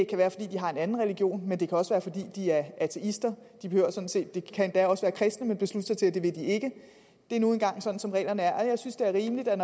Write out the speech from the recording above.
kan være fordi de har en anden region men det kan også være fordi de er ateister de kan endda også være kristne men beslutte sig til at det vil de ikke det er nu engang sådan som reglerne er og jeg synes det er rimeligt at